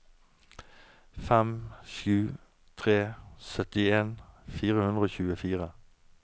fem sju to tre syttien fire hundre og tjuefire